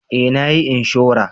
Eh na yi inshora